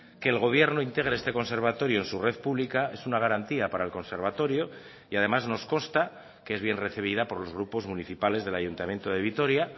que el gobierno integre este conservatorio en su red pública es una garantía para el conservatorio y además nos consta que es bien recibida por los grupos municipales del ayuntamiento de vitoria